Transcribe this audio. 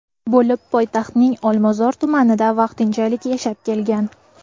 bo‘lib, poytaxtning Olmazor tumanida vaqtinchalik yashab kelgan.